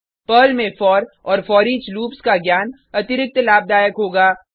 Perl में for और foreach loops का ज्ञान अतिरिक्त लाभदायक होगा